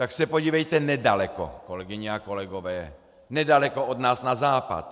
Tak se podívejte nedaleko, kolegyně a kolegové, nedaleko od nás na západ.